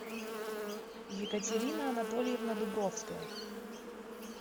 екатерина анатольевна дубровская